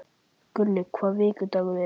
Gulli, hvaða vikudagur er í dag?